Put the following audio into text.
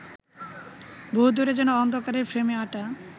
বহুদূরে যেন অন্ধকারের ফ্রেমে আঁটা